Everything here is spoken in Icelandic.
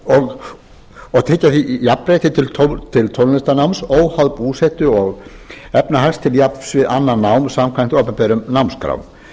og tryggja því jafnrétti til tónlistarnáms óháð búsetu og efnahag til jafns við annað nám samkvæmt opinberum námskrá